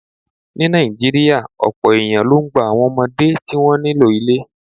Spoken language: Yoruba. Ní Nàìjíríà, ọ̀pọ̀ èèyàn ló ń gba àwọn ọmọdé tí wọ́n nílò ilé